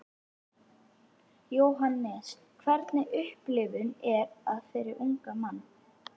Jóhannes: Hvernig upplifun er það fyrir ungan mann?